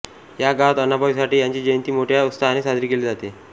या गावात आण्णभाऊ साठे यांची जयंती मोठ्या उत्सहाने साजरी केली जाते